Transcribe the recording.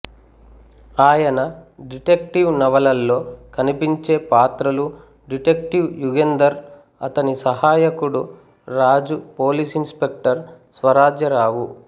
ఆయన డిటెక్టివ్ నవలల్లో కనిపించే పాత్రలు డిటెక్టివ్ యుగంధర్ అతని సహాయకుడు Raju police inspector Swarajya రావు